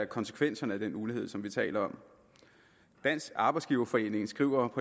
konsekvenserne af den ulighed som vi taler om dansk arbejdsgiverforening skriver